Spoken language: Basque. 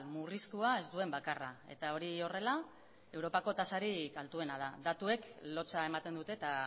murriztua ez duen bakarra eta hori horrela europako tasarik altuena da datuek lotsa ematen dute eta